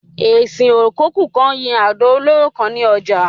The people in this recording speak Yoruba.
Esin ò kokú kan yín àdò olóró kan ni ojà